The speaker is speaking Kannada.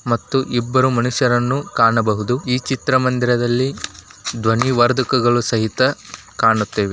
ಮತ್ತು ಇಬ್ಬರು ಮನುಷ್ಯರನ್ನು ಕಾಣಬಹುದು ಈ ಚಿತ್ರ ಮಂದಿರದಲ್ಲಿ ಧ್ವನಿ ವರ್ಧಕಗಳು ಸಹಿತ ಕಾಣುತ್ತವೆ.